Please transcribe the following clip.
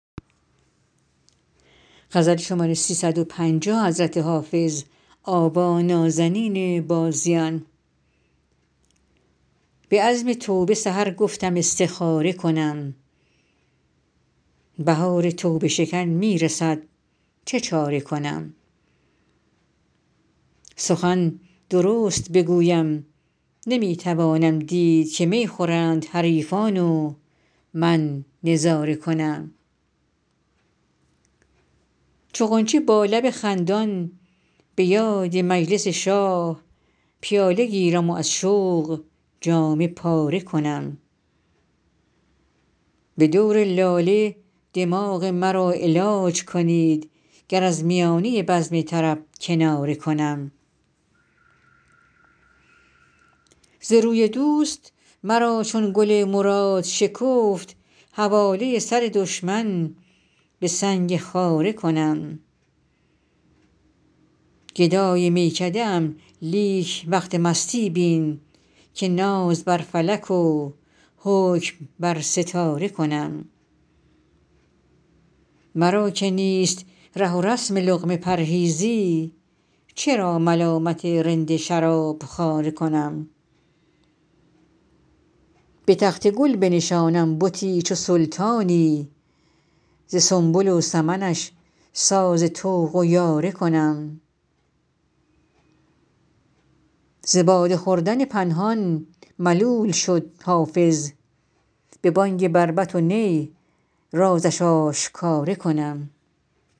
به عزم توبه سحر گفتم استخاره کنم بهار توبه شکن می رسد چه چاره کنم سخن درست بگویم نمی توانم دید که می خورند حریفان و من نظاره کنم چو غنچه با لب خندان به یاد مجلس شاه پیاله گیرم و از شوق جامه پاره کنم به دور لاله دماغ مرا علاج کنید گر از میانه بزم طرب کناره کنم ز روی دوست مرا چون گل مراد شکفت حواله سر دشمن به سنگ خاره کنم گدای میکده ام لیک وقت مستی بین که ناز بر فلک و حکم بر ستاره کنم مرا که نیست ره و رسم لقمه پرهیزی چرا ملامت رند شراب خواره کنم به تخت گل بنشانم بتی چو سلطانی ز سنبل و سمنش ساز طوق و یاره کنم ز باده خوردن پنهان ملول شد حافظ به بانگ بربط و نی رازش آشکاره کنم